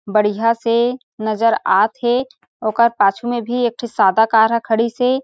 बढ़िया से नज़र आत हे ओकर पाछू में भी एक ठी सादा कार ह खड़ी से --